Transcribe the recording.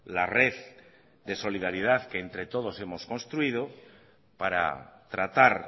la red de solidaridad que entre todos hemos construido para tratar